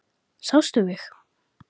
Sástu mig?